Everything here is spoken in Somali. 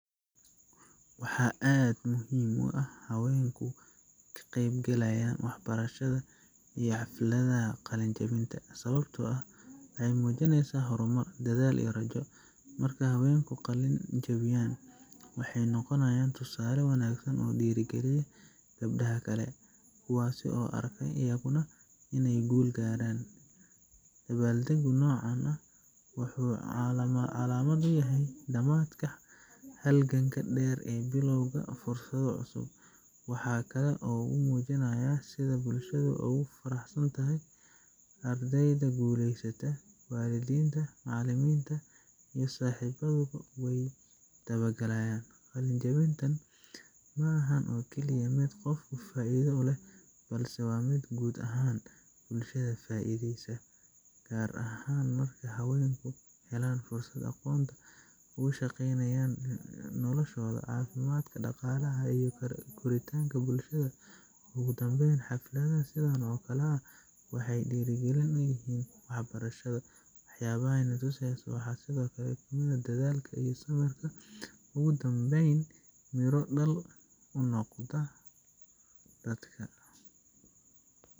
Waxaa aad muhiim u ah haweenku ka qeyb galaaya wax barashada iyo xafladaha qalin jabinta, sababta oo ah waxeey muujineysa hor mar, dadaal iyo rajo, markeey haweenku qalin jabiyaan, waxeey noqonaayan tusaale wanagsan oo diiri galiyo gabdaha kale, kuwaas oo arka ayaguna ineey guul gaaran, dabaal dagu noocan ah wuxuu calaamad uyahay damaadka halganka deer ee biloowga fursada cusub, waxaa kale oo uu mujinaaya sida bulshada oogu faraxsantaxay ardeyda guleysata, walidinta, macalimiinta iyo saxibadu weey dabaal dagayaan, qalin jabintan maahan oo kaliya mid qofka faaida u leh, balse waa mid guud ahaan bulshada ka faaideysan, gaar ahaan markeey haweenka helaan fursada aqoon, ku shaqeynayaan noloshooda, cafimaadka, daqaalaha iyo korintaanka bulshada, ugu danbeyn xafladaha sidan oo kale ah waxeey diiri galin uyihiin wax barashada, wax yaabaha aay na tuseeyso waxaa sido kale kamid ah, inuu dadaalka iyo samirka ugu danbeyn mira dal uu noqdo dadka.